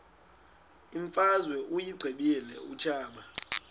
imfazwe uyiqibile utshaba